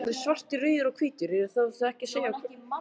Ég er til í smá róður en ekki að veiða.